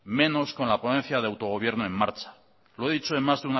menos con la ponencia de autogobierno en marcha lo he dicho en más